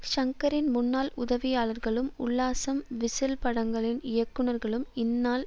ஷங்கரின் முன்னாள் உதவியாளர்களும் உல்லாசம் விசில் படங்களின் இயக்குநர்களும் இந்நாள்